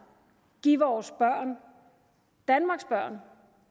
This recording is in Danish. give vores børn danmarks børn